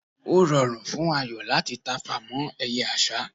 o rùn fún Ayo láti tafà mọ eye àsá